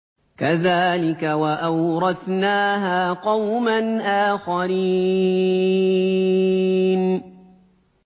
كَذَٰلِكَ ۖ وَأَوْرَثْنَاهَا قَوْمًا آخَرِينَ